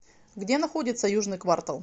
где находится южный квартал